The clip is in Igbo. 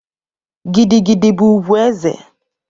Gidi gidi bu ugwu eze